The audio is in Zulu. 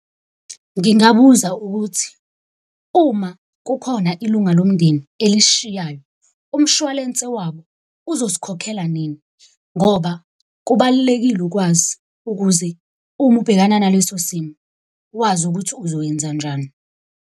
Ngingabuza ukuthi uma kukhona ilunga lomndeni elisishayayo, umshwalense wabo uzosikhokhela nini? Ngoba kubalulekile ukwazi ukuze uma ubhekana naleso simo wazi ukuthi uzoyenza njani.